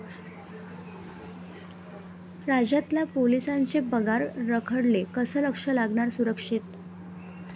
राज्यातल्या पोलिसांचे पगार रखडले, कसं लक्ष लागणार सुरक्षेत?